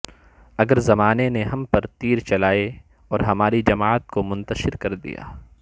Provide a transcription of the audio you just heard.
اگر زمانے نے ہم پر تیر چلائے اور ہماری جماعت کو منتشر کر دیا